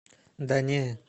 да не